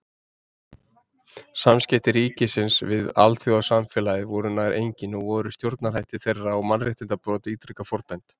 Samskipti ríkisins við alþjóðasamfélagið voru nær engin og voru stjórnarhættir þeirra og mannréttindabrot ítrekað fordæmd.